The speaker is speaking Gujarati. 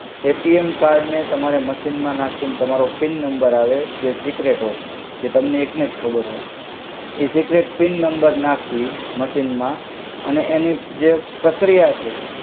અએટિએમ કર્ડ ને તમારે મસિન મ નાખિને તમારો પિન નમ્બર આવે જે સિકરેટ હોય જે તમને એક નેજ ખબર હોય એ સિકરેત પિન નમ્બર નાખી મસિન મા અને એનિ જે પ્રક્રિયા છે